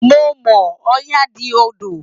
Mo mọ̀ ọ́n, Ọya di odò